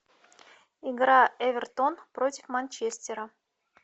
игра эвертон против манчестера